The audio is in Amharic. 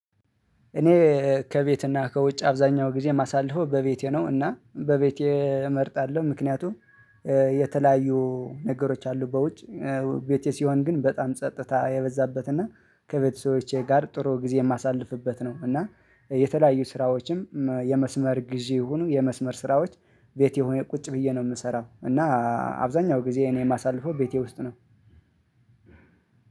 እኔ ከቤትና ከውጭ አብዛኛው ጊዜ ማሳለፈው በቤቴ ነው እና በቤቴ እመርጣለሁ ምክንያቱም የተለያዩ ነገሮች አሉ በውጭ ቤቴ ሲሆን ግን በጣም ጸጥታ የበዛበትና ከቤተሰቦቼ ጋር ጥሩ ጊዜ የማሳልፍበት ነው። እና የተለያዩ ስራዎችም የመስመር ጊዜ ይሁኑ የመስመር ስራዎች ቤቴ ሆኜ ቁጭ ብዬ ነው የምሰራው እና አብዛኛው ጊዜ እኔ የማሳልፈው ቤቴ ውስጥ ነው።